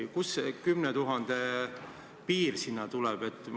Ja kust see 10 000 piir sinna tuleb?